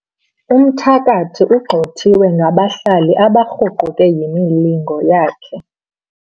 Umthakathi ugxothiwe ngabahlali abakruquke yimilingo yakhe.